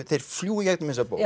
þeir fljúga í gegnum þessa bók